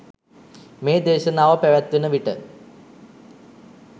මේ දේශනාව පැවත්වෙන විට